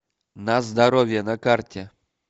на здоровье на карте